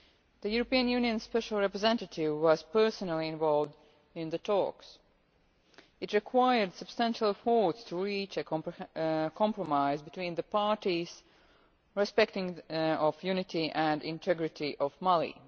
The European Union Special Representative was personally involved in the talks. It required substantial efforts to reach a compromise between the parties, respecting the unity and integrity of Mali.